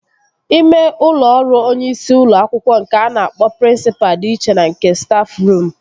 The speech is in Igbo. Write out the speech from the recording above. Ime ụlọ ọrụ onyeisi ụlọ akwụkwọ nke a na-akpọ prịnsịpa dị iche na nke stafruum